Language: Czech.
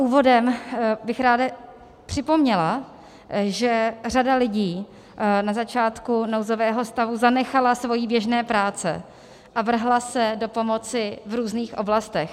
Úvodem bych ráda připomněla, že řada lidí na začátku nouzového stavu zanechala své běžné práce a vrhla se do pomoci v různých oblastech.